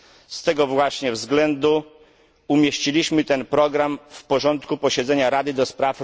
Z tego właśnie względu umieściliśmy ten program w porządku posiedzenia Rady ds.